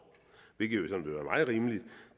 hvilket jo